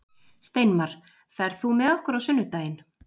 Steinmar, ferð þú með okkur á sunnudaginn?